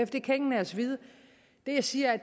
det kan ingen af os vide det jeg siger er